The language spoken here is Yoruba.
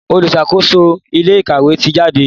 oluṣakoso ilé ìkàwé tí jáde.